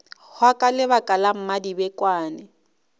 hwa ka lebaka la mmadibekwane